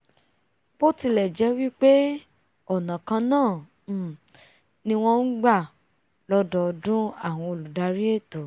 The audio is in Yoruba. bó tilẹ̀ jẹ́ wí pé ọ̀nà kannáà um ni wọ́n ngbà lọ́dọọdún àwọn olùdarí ètò